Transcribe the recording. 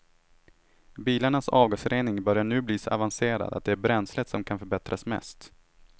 Bilarnas avgasrening börjar nu bli så avancerad att det är bränslet som kan förbättras mest.